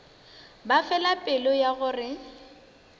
ba fela pelo ya gore